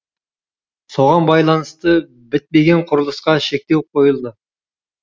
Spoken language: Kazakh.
соған байланысты бітпеген құрылысқа шектеу қойылды